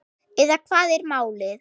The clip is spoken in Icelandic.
Eða hvað er málið?